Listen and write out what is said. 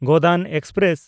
Godan express